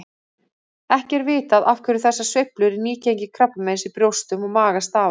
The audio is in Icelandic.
Ekki er vitað af hverju þessar sveiflur í nýgengi krabbameins í brjóstum og maga stafa.